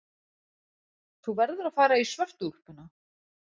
Þú verður að fara í svörtu úlpuna.